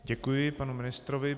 Děkuji panu ministrovi.